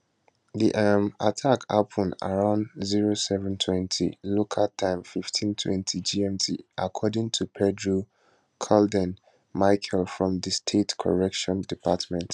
di um attack happun around 0720 local time 1520 gmt according to pedro caldern michel from di state corrections department